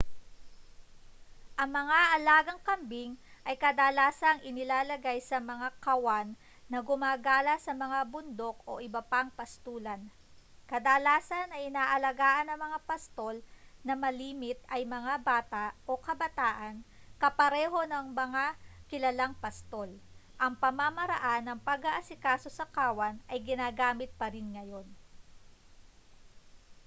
ang mga alagang kambing ay kadalasang inilalagay sa mga kawan na gumagala sa mga bundok o iba pang pastulan kadalasan ay inaalagaan ng mga pastol na malimit ay mga bata o kabataan kapareho ng mas mga kilalang pastol ang pamamaraan ng pag-aasikaso sa kawan ay ginagamit pa rin ngayon